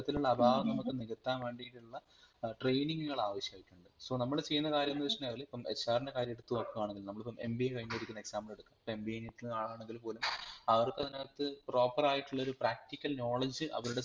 അത്തരത്തിലുള്ള അഭാവങ്ങൽ നമുക്ക് നികത്താൻ വേണ്ടിട്ടുള്ള ഏർ training കൾ ആവിഷായിട്ടുണ്ട് so നമ്മൾ ചെയുന്ന കാര്യംന്ന് വെച്ചുകഴിനാലിപ്പം HR ൻറെ കാര്യം എടുത്ത് നോക്കുകയാണെങ്കിൽ നമ്മളിപ്പൊ MBA കഴിഞ്ഞിരിക്കുന്ന EXAMPLE എടുത്ത് നോക്കുവാണെങ്കിൽ നമ്മളിപ്പൊ MBA എടുക്കുന്ന ആൾ ആണെങ്കിൽ പോലും അവർക് അതിനാകത്തു practical ആയിട്ടുള്ള ഒരു PRACTICAL KNOWLEDGE അവരുടെ